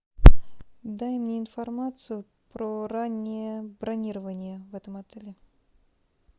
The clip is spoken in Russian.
дай мне информацию про раннее бронирование в этом отеле